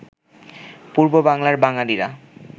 পূর্ব বাংলার বাঙালিরা